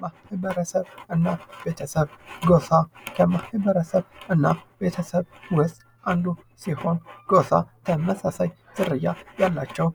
ማህበረሰብ እና ቤተሰቡ ጎፋ ከማህበረሰብ እና ቤተሰብ ውስጥ አንዱ ሲሆን ጎፋ ተመሳሳይ ዝርያ ያላቸው